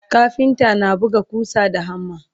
kafinta na buga ƙusa da hammer